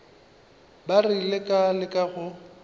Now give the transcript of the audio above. ba rile ka leka go